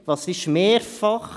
Was ist mehrfach?